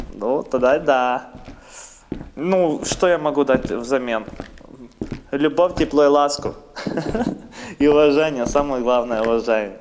ну тогда да ну что я могу дать взамен любовь тепло и ласку ха-ха и уважение самое главное уважение